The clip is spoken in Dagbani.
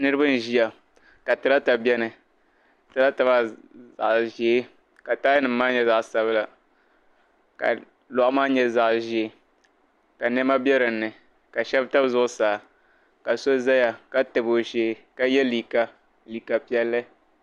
Niriba n-ʒia ka tiraata beni. Tiraata maa zaɣ' ʒee ka taayanima maa nyɛ zaɣ' sabila ka lɔɣu maa nyɛ zaɣ' ʒee ka nɛma be dinni ka shɛba tam zuɣusaa ka so zaya ka tabi o shee ka ye liika piɛlli.